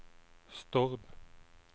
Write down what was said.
Stord